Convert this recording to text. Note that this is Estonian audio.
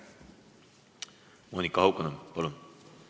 Monika Haukanõmm, palun!